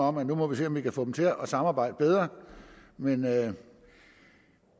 om at nu må vi se om vi kan få dem til at samarbejde bedre men det